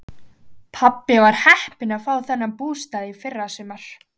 Pabbi var heppinn að fá þennan bústað í fyrrasumar.